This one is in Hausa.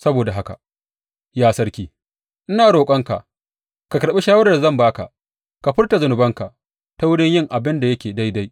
Saboda haka, ya sarki, ina roƙonka ka karɓi shawarar da zan ba ka; ka furta zunubanka ta wurin yin abin da yake daidai.